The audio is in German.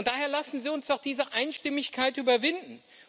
Daher lassen Sie uns doch diese Einstimmigkeit überwinden!